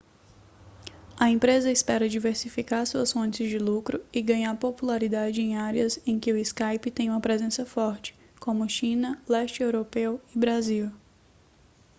a empresa espera diversificar suas fontes de lucro e ganhar popularidade em áreas em que o skype tem uma presença forte como china leste europeu e brasil